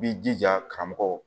I b'i jija karamɔgɔw